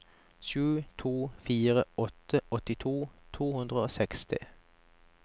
sju to fire åtte åttito to hundre og seksti